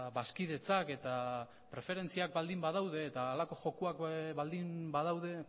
bazkidetzak eta preferentziak baldin badaude eta halako jokoak baldin badaude